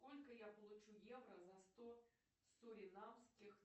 сколько я получу евро за сто суринамских